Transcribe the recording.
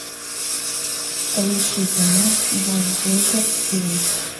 поищи кино газгольдер фильм